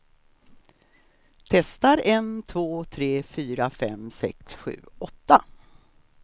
Testar en två tre fyra fem sex sju åtta.